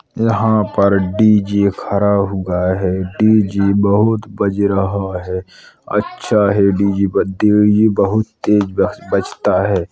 यहाँ पर डीजे खड़ा हुआ है। डीजे बहोत बज रहा है। अच्छा है डीजे बजते हुए यह बहोत तेज़ बजता है।